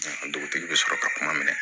Dugutigi bɛ sɔrɔ ka kuma minɛ